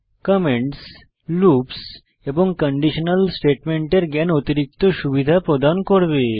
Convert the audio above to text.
comments loops এবং conditional স্টেটমেন্টের জ্ঞান অতিরিক্ত সুবিধা প্রদান করবে